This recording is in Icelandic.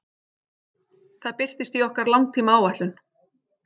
Það birtist í okkar langtímaáætlun.